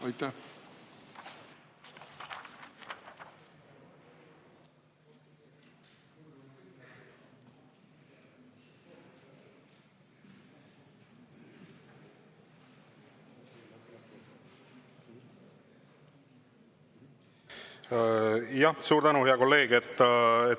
Jah, suur tänu, hea kolleeg!